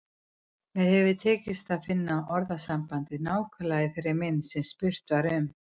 Mér hefur ekki tekist að finna orðasambandið nákvæmlega í þeirri mynd sem spurt var um.